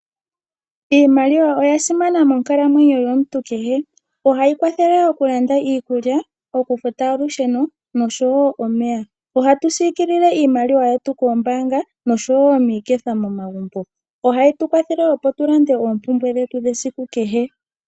Iimaliwa oya simana monkalamwenyo yomuntu kehe. Ohayi kwathele mokulanda iikulya, oku futa olusheno osho wo okufuta omeya. Oha tu yi pungula moombaanga osho wo miiketha momagumbo. Ohayi tu kwathele opo tu lande oompumbwe dhetu dhesiku kehe.